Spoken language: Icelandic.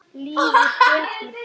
Líður betur.